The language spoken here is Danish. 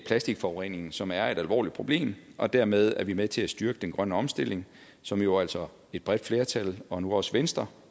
plastikforureningen som er et alvorligt problem og dermed er vi med til at styrke den grønne omstilling som jo altså et bredt flertal og nu også venstre